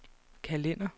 kalender